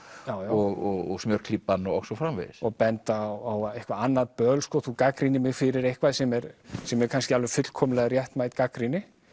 og smjörklípan og svo framvegis og benda á eitthvað annað böl sko þú gagnrýnir mig fyrir eitthvað sem er sem er kannski alveg fullkomlega réttmæt gagnrýni